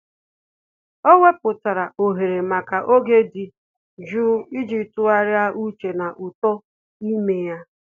Ọ́ wèpụ̀tárà ohere màkà oge dị́ jụụ iji tụ́gharị́a úchè na uto ime ya.